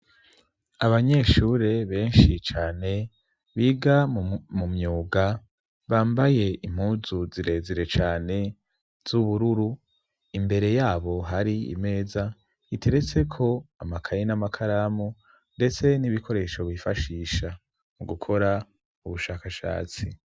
Abanyeshure benshi cane biga mu myuga bambaye impuzu zirezire cane z'ubururu imbere yabo hari imeza iteretseko amakaye n'amakaramu, ndetse n'ibikoresho bifashisha mu gukora ubushakashatsi.